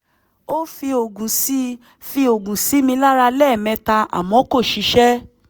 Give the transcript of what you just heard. ó fi oògùn sí fi oògùn sí mi lára lẹ́ẹ̀mẹta àmọ́ kò ṣiṣẹ́